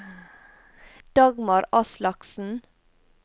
Dagmar Aslaksen